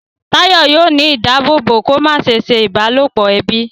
Tayo yóò ní ìdáàbòbò kò má se ṣe ìbálòpọ̀ ẹbí.